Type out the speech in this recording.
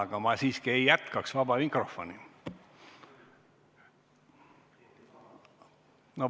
Aga ma siiski ei jätkaks praegu vaba mikrofoni.